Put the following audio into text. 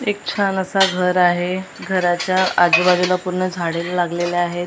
एक छान असा घर आहे घराच्या आजूबाजूला पूर्ण झाडे लागलेले आहेत .